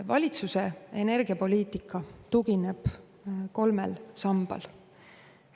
Valitsuse energiapoliitika tugineb kolmele sambale.